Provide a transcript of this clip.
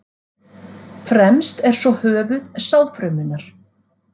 Fremst er svo höfuð sáðfrumunnar.